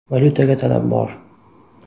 Valyutaga talab bor.